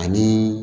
Ani